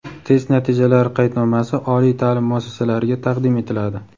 test natijalari qaydnomasi oliy ta’lim muassasalariga taqdim etiladi.